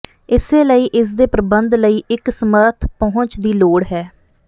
ਇਸੇ ਲਈ ਇਸ ਦੇ ਪ੍ਰਬੰਧ ਲਈ ਇੱਕ ਸਮਰੱਥ ਪਹੁੰਚ ਦੀ ਲੋੜ ਹੈ